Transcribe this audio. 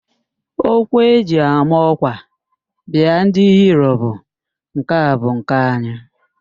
Okwu eji ama ọ́kwà biaa ndị Hiro bụ, "nke a bu nke anyị"